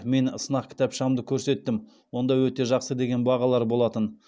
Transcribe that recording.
мен сынақ кітапшамды көрсеттім онда өте жақсы деген бағалар болатын